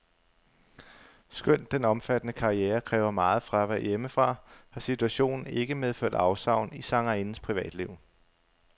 Skønt den omfattende karriere kræver meget fravær hjemmefra, har situationen ikke medført afsavn i sangerindens privatliv.